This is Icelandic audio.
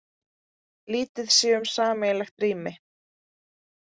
Lítið sé um sameiginlegt rými